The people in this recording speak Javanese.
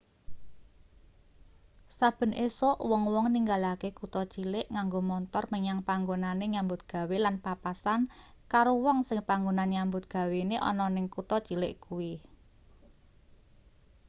saben esuk wong-wong ninggalake kutha cilik nganggo montor menyang panggonane nyambut gawe lan papasan karo wong sing panggonan nyambut gawene ana ning kutha cilik kuwi